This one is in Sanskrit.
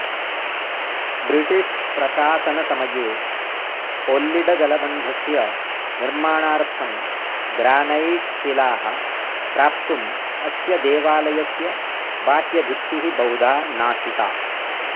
ब्रिटिष् प्रशासनसमये कोल्लिडजलबन्धस्य निर्माणार्थं ग्रानैट्शिलाः प्राप्तुम् अस्य देवालयस्य बाह्यभित्तिः बहुधा नाशिता